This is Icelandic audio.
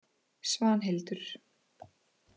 Svanhildur